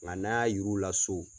Nga n'an y'a yir'u la so